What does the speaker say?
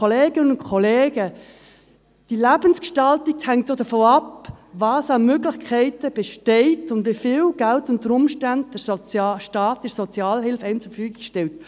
Kolleginnen und Kollegen, die Lebensgestaltung hängt auch davon ab, welche Möglichkeiten bestehen und wie viel Geld einem unter Umständen der Staat in der Sozialhilfe zur Verfügung stellt.